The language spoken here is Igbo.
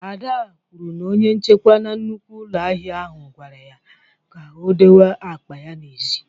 Ada kwuru na onye nchekwa na nnukwu ụlọ ahịa ahụ gwara ya ka o dowe akpa ya n'èzí